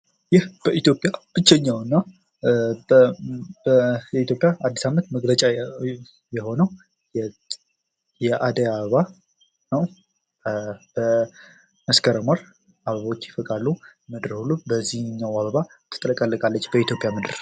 ይህ በኢትዮጵያ ብቸኛዉና በኢትዮጵያ የአዲስ አመት መግለጫ የሆነው የአደይ አበባ ነው። በመስከረም ወር አበቦች ይፈካሉ። ምድርም በዚህኛም አበባ ትጥለቀለቃለች በኢትዮጵያ ምድር።